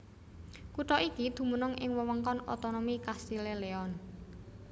Kutha iki dumunung ing wewengkon otonomi Castile Leon